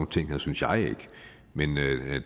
ting synes jeg ikke men